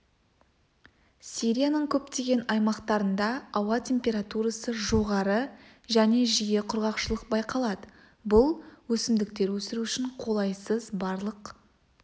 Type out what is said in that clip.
сирияның көптеген аймақтарында ауа температурасы жоғары және жиі құрғақшылық байқалады бұл өсімдіктер өсіру үшін қолайсыз барлық